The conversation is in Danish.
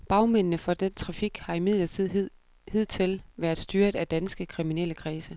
Bagmændene for denne trafik har imidlertid hidtil været styret af danske kriminelle kredse.